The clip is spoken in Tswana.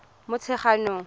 motshegang